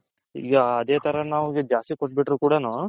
ಈಗ ಅದೆ ತರ ನಾವು ಜಾಸ್ತಿ ಕೋಟ್ಬಿಟ್ರು ಕೂಡನು